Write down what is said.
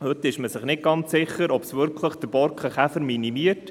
Heute ist man nicht ganz sicher, ob es wirklich den Borkenkäfer minimiert.